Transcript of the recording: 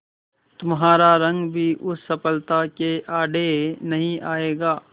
तुम्हारा रंग भी उस सफलता के आड़े नहीं आएगा